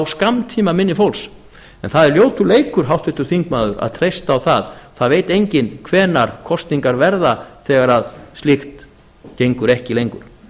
skammtímaminni fólks en það er ljótur leikur háttvirtur þingmaður að treysta á það það veit enginn hvenær kosningar verða þegar slíkt gengur ekki lengur